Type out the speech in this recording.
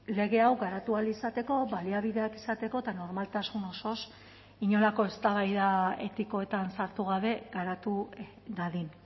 lege hau garatu ahal izateko baliabideak izateko eta normaltasun osoz inolako eztabaida etikoetan sartu gabe garatu dadin